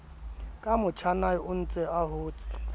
ka motjhanae ontse a hotse